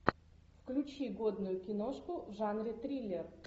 включи годную киношку в жанре триллер